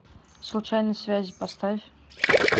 случайные связи поставь